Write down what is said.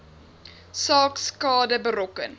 saak skade berokken